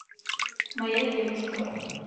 моя девушка